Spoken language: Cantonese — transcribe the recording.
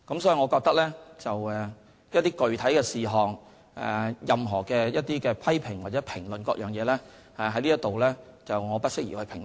所以，我覺得，對於某些具體事項，以及任何批評或評論，我在此不適宜評論。